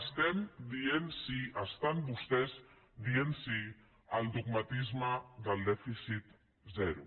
estem dient sí estan vostès dient sí al dogmatisme del dèficit zero